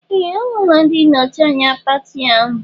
Ee! Ọ hụla ndị nnọchi anya pati ahụ.